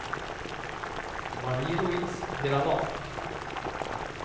Marie-Louise Granath